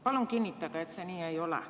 Palun kinnitage, et see nii ei ole.